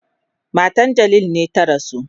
Matan Jalil ne ta rasu.